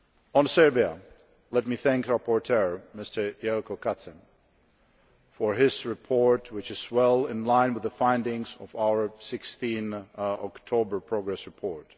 On Serbia, let me thank the rapporteur, Mr Jelko Kacin, for his report, which is well in line with the findings of our 16 October progress report.